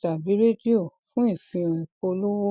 tàbí redio fún ìfihàn ìpolówó